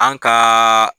An kaaa